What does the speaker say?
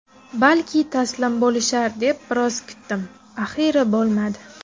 Balki taslim bo‘lishar deb biroz kutdim, axiyri bo‘lmadi.